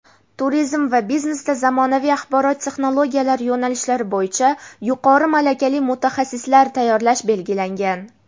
"Turizm" va "Biznesda zamonaviy axborot texnologiyalari" yo‘nalishlari bo‘yicha yuqori malakali mutaxassislar tayyorlash belgilangan.